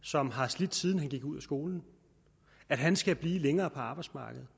som har slidt siden han gik ud af skolen at han skal blive længere på arbejdsmarkedet